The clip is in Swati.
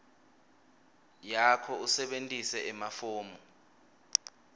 yakho usebentise emafomu